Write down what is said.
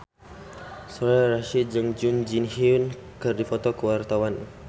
Soraya Rasyid jeung Jun Ji Hyun keur dipoto ku wartawan